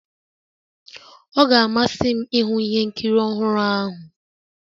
Ọ ga-amasị m ịhụ ihe nkiri ọhụrụ ahụ